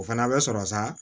O fana bɛ sɔrɔ sa